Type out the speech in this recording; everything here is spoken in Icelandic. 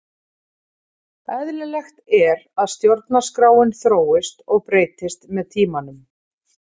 Eðlilegt er að stjórnarskráin þróist og breytist með tímanum.